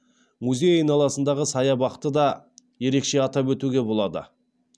музей айналасындағы саябақты да ерекше атап өтуге болады